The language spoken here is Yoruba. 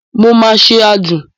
Mo máa ṣe àádùn.